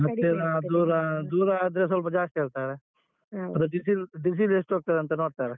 ಹತ್ತಿರ ದೂರ ದೂರ ಆದ್ರೆ ಸ್ವಲ್ಪ ಜಾಸ್ತಿ ಹೇಳ್ತಾರೆ ಮತ್ತೆ diesel diesel ಎಷ್ಟ್ ಹೋಗ್ತದಂತ ನೋಡ್ತಾರೆ.